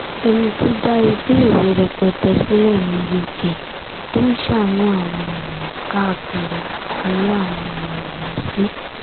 ẹni tó dá iléèwé rẹpẹtẹ sílẹ̀ ní uk tó ń ṣàánú àwọn èèyàn káàkiri aláàánú ni mo mọ̀ ọ́n sí